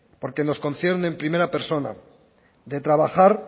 porque nos concierne en primera persona de trabajar